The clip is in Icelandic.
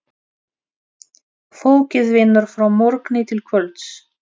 Fólkið vinnur frá morgni til kvölds.